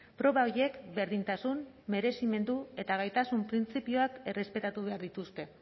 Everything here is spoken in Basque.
proba horiek berdintasun merezimendu eta gaitasun printzipioak errespetatu behar dituzte